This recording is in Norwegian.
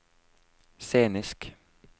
scenisk